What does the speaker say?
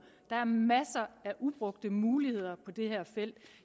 der er masser af ubrugte muligheder på det her felt